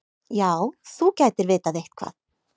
Já, þú gætir vitað eitthvað.